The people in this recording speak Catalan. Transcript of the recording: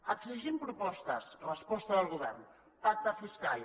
exigim propostes resposta del govern pacte fiscal